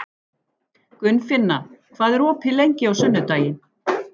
Gunnfinna, hvað er opið lengi á sunnudaginn?